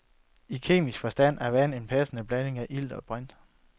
I kemisk forstand er vand en passende blanding af ilt og brint.